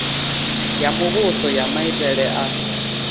ya muvhuso ya maitele a